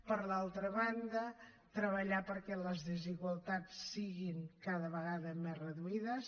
per l’altra banda treballar perquè les desigualtats siguin cada vegada més reduïdes